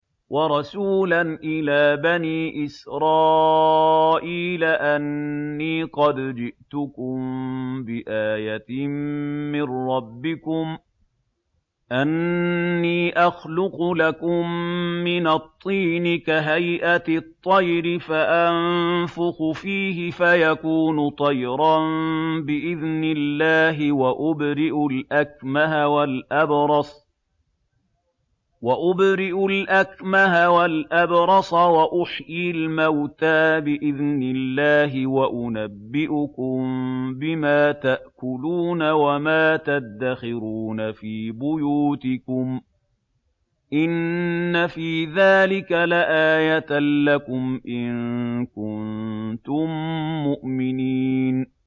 وَرَسُولًا إِلَىٰ بَنِي إِسْرَائِيلَ أَنِّي قَدْ جِئْتُكُم بِآيَةٍ مِّن رَّبِّكُمْ ۖ أَنِّي أَخْلُقُ لَكُم مِّنَ الطِّينِ كَهَيْئَةِ الطَّيْرِ فَأَنفُخُ فِيهِ فَيَكُونُ طَيْرًا بِإِذْنِ اللَّهِ ۖ وَأُبْرِئُ الْأَكْمَهَ وَالْأَبْرَصَ وَأُحْيِي الْمَوْتَىٰ بِإِذْنِ اللَّهِ ۖ وَأُنَبِّئُكُم بِمَا تَأْكُلُونَ وَمَا تَدَّخِرُونَ فِي بُيُوتِكُمْ ۚ إِنَّ فِي ذَٰلِكَ لَآيَةً لَّكُمْ إِن كُنتُم مُّؤْمِنِينَ